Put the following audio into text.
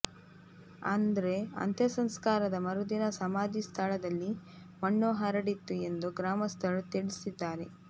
ಆದ್ರೆ ಅಂತ್ಯಸಂಸ್ಕಾರದ ಮರುದಿನ ಸಮಾಧಿ ಸ್ಥಳದಲ್ಲಿ ಮಣ್ಣು ಹರಡಿತ್ತು ಎಂದು ಗ್ರಾಮಸ್ಥರು ತಿಳಿಸಿದ್ದಾರೆ